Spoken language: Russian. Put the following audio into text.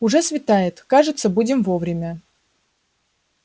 уже светает кажется будем вовремя